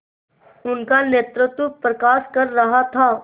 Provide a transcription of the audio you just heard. उनका नेतृत्व प्रकाश कर रहा था